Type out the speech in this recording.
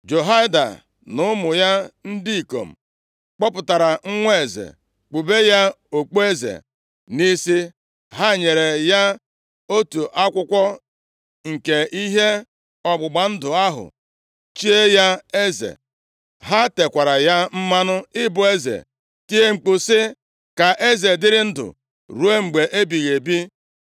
Jehoiada na ụmụ ya ndị ikom kpọpụtara nwa eze, kpube ya okpueze nʼisi, ha nyere ya otu akwụkwọ nke ihe ọgbụgba ndụ ahụ, chie ya eze. Ha tekwara ya mmanụ ịbụ eze, tie mkpu sị, “Ka eze dịrị ndụ ruo mgbe ebighị ebi!”